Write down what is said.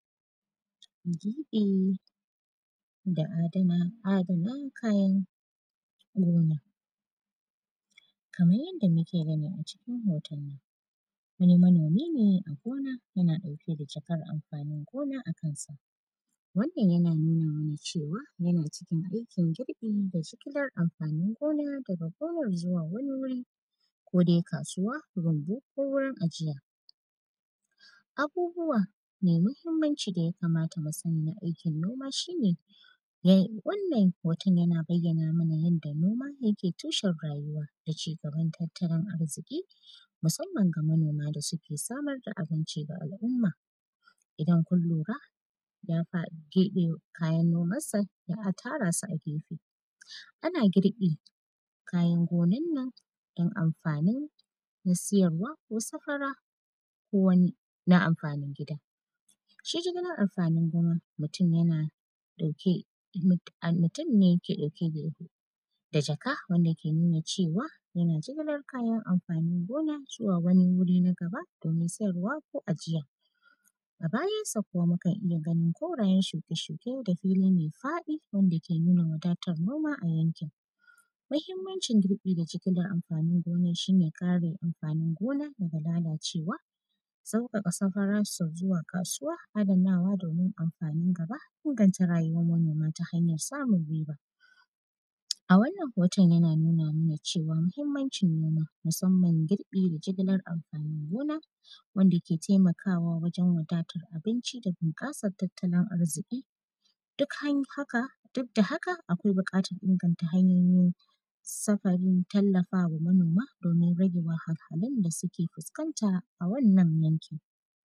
Girƃi da adana; adana kayan gona. Kaman yadda muke gani a cikin hoton nan, wani manomi ne a gona, yana ɗauke da cakar amfanin gona a kansa. Wannan, yana nuni ne da cewa, yana cikin aikin girƃi da sikilar amfanin gona, daga gonar zuwa wani wuri, ko dai kasuwa, rumbu ko wurin ajiya. Abubuwa me mahimmanci da ya kamata mu sani na aikin noma, shi ne, yai; wannan hoton yana bayyana mana yadda noma yake tushen rayuwa da cigaban tattalin arziƙi, musamman ga manoma da suke samar da abinci ga al’umma. Idan kun lura, ya fa keƃe kayan nomassa, ya tara su a gefe. Ana girƃi kayan gonan nan, don amfanin na siyarwa ko safara ko wani na amfanin gida. Shi jigilar amfanin gona, mutun yana ɗauke, mut; an; mutun ne ke ɗauke ge; da jaka, wanda yake nuna cewa, yana jigilar kayan amfanin gona zuwa wani wuri nag aba, domin sayarwa ko ajiya. A bayansa kuma, mukan iya ganin korayen shuke-shuke da fili me faɗi wanda ke nuna wadatar noma a yankin. Mahimmancin girƃi da jigilar amfanin gona, shi ne kare amfanin gona daga lalacewa, sauƙaƙa safararsa zuwa kasuwa, adanawa domin amfanin gab, inganta rayuwan manoma ta hanyan samun riba. A wannan hoton, yana nuna mana cewa, mahimmancin noma, musamman girƃi da jigilar amfanin gona, wanda ke temakawa wajen wadatar abinci da binƙasar tattalin arziƙi. Duk han yi haka, duk da haka, akwai biƙatar inganta hanyoyin safarin tallafa wa manoma, domin rage wahalhalun da sike fuskanta a wannan yankin.